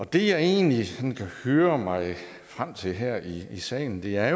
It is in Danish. det jeg egentlig kan høre mig frem til her i salen er